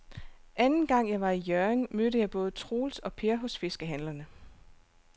Anden gang jeg var i Hjørring, mødte jeg både Troels og Per hos fiskehandlerne.